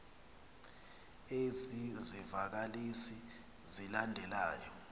ezi zivakalisi zilandelayo